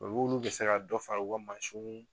bɛ se ka dɔ fara u ka mansiw